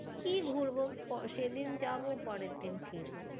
কি ঘুরবো? সেদিন যাবো পরের দিন ফিরবো।